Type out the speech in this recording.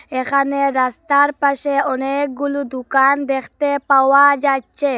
এখানে রাস্তার পাশে অনেকগুলু দুকান দেকতে পাওয়া যাচ্চে।